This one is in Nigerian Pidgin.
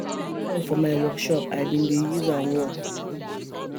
I forget my saw for my work shop I bin dey use am work